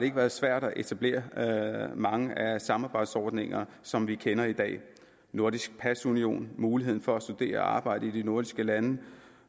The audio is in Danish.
ikke været svært at etablere mange af de samarbejdsordninger som vi kender i dag nordisk pasunion muligheden for at studere og arbejde i de nordiske lande